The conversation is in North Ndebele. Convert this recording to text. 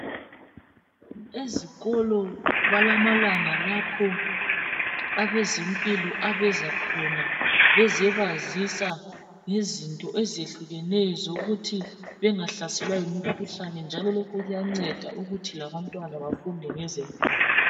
Ezikolo balamalanga lapho abezempilo abeza khona bezobazisa ngezinto ezehlukeneyo zokuthi bengahlaselwa yimikhuhlane njalo lokhu kuyanceda ukuthi labantwana bafunde ngezempilo.